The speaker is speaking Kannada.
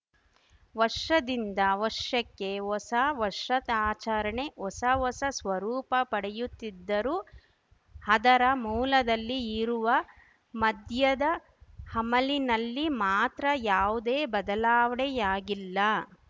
ವರ್ಷದಿಂದ ವರ್ಷಕ್ಕೆ ಹೊಸ ವರ್ಷಾತಾಚರಣೆ ಹೊಸ ಹೊಸ ಸ್ವರೂಪ ಪಡೆಯುತ್ತಿದ್ದರೂ ಅದರ ಮೂಲದಲ್ಲಿ ಇರುವ ಮದ್ಯದ ಅಮಲಿನಲ್ಲಿ ಮಾತ್ರ ಯಾವುದೇ ಬದಲಾವಣೆಯಾಗಿಲ್ಲ